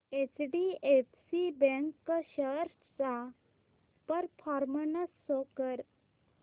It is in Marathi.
एचडीएफसी बँक शेअर्स चा परफॉर्मन्स शो कर